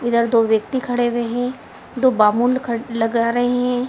इधर दो व्यक्ति खड़े हुए हैं दो बामूल खड़े लगा रहे हैं।